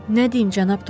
Nə deyim, Cənab Tom?